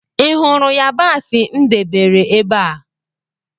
Ị hụrụ yabasị m debere ébé a?